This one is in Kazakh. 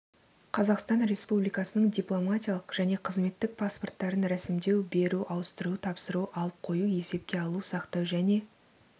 қазақстан республикасының дипломатиялық және қызметтік паспорттарын ресімдеу беру ауыстыру тапсыру алып қою есепке алу сақтау және